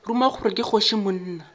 ruma gore ke kgoši monna